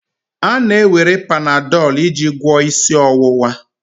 A na-ewere Panadol iji gwọọ isi ọwụwa.